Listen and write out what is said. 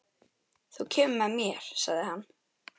Þú kemur með mér, sagði hann.